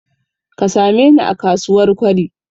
Ka sameni a kasuwar Kwari.